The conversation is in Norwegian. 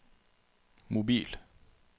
mobil